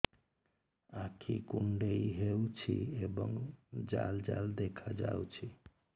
ଆଖି କୁଣ୍ଡେଇ ହେଉଛି ଏବଂ ଜାଲ ଜାଲ ଦେଖାଯାଉଛି